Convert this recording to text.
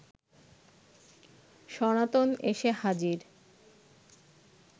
সনাতন এসে হাজির